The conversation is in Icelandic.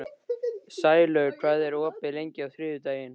Sælaug, hvað er opið lengi á þriðjudaginn?